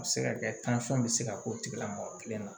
A bɛ se ka kɛ bɛ se ka k'o tigila mɔgɔ kelen na